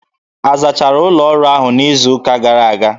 A zachara ụlọ ọrụ ahụ n'izu gara aga?